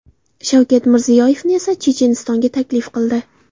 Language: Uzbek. Shavkat Mirziyoyevni esa Chechenistonga taklif qildi .